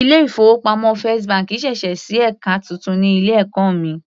Ilé ìfowópamọ́ first bank sẹ̀sẹ̀ sí ẹka titun ní ilé ẹ̀kọ́ mi.